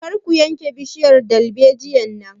Kar ku yanke bishiyar dalbejiyar nan!